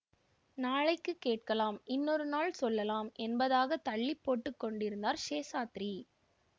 நாளைக்குக் கேட்கலாம் இன்னொரு நாள் சொல்லலாம் என்பதாகத் தள்ளி போட்டு கொண்டிருந்தார் சேஷாத்ரி